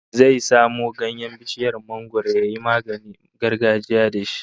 Zai samo ganyen bishiyar mangwaro yayi maganin gargajiya da shi